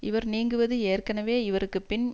இவர் நீங்குவது ஏற்கனவே இவருக்கு பின்